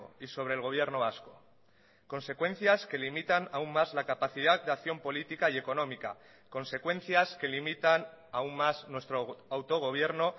y sobre el gobierno vasco consecuencias que limitan aun más la capacidad de acción política y económica consecuencias que limitan aun más nuestro autogobierno